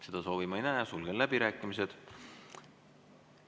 Seda soovi ma ei näe, sulgen läbirääkimised.